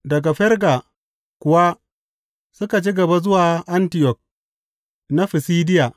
Daga Ferga kuwa suka ci gaba zuwa Antiyok na Fisidiya.